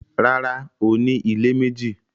Rárá, ó ní ilé méjì